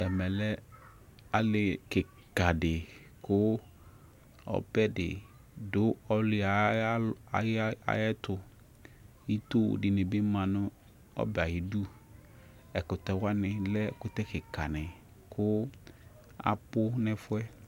Ɛmɛ lɛ ali kika di kʋ ɔbɛ di dʋ ali yɛ ayɛtʋ Ito di ni bi ma nʋ ɛbɛ yɛ ayidu Ɛkʋtɛ wani lɛ ɛkʋtɛ kika ni kʋ abʋ nʋ ɛfuɛ